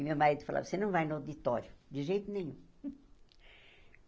E meu marido falava, você não vai no auditório, de jeito nenhum.